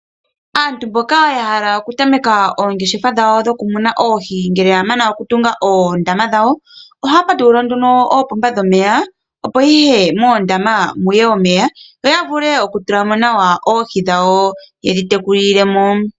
Aantu mboka ya hala okutameka oongeshefa dhawo, dhoku muna oohi. Ngele ya mana okutunga oondama dhawo ohaya patulula oopomba dhomeya, opo moondama muye omeya nokutula mo oohi, osho wo okutekula.